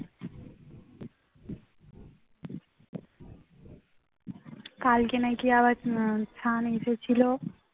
কালকে নাকি আবার সায়ন এসেছিল